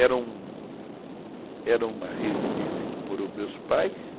Era uma era uma residência que morou meus pais,